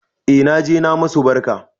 E naje na musu barka